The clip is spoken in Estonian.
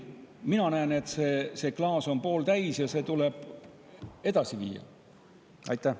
Mina näen, et see klaas on pooltäis, ja seda tuleb edasi viia.